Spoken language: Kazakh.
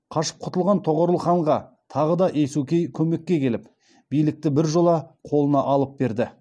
қашып құтылған тоғорыл ханға тағы да есукей көмекке келіп билікті біржола қолына алып берді